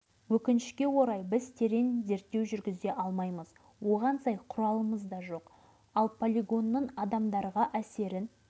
тексеріп аурудың мөлшерін анықтау дейді осы комиссияның бастығы облыстық аурухана бас дәрігерінің орынбасары апесегов